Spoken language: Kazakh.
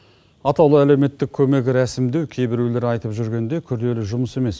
атаулы әлеуметтік көмек рәсімдеу кей біреулер айтып жүргендей күрделі жұмыс емес